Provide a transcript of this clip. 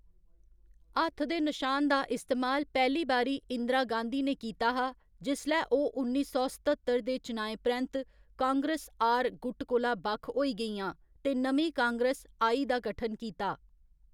हत्थ दे नशान दा इस्तेमाल पैह्‌ली बारी इंदिरा गाँधी ने कीता हा जिसलै ओह्‌‌ उन्नी सौ सत्ततर दे चुनाएं परैंत्त कांग्रेस आर गुट कोला बक्ख होई गेइआं ते नमीं कांग्रेस आई दा गठन कीता।